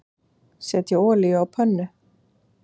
Setjið olíu á pönnu.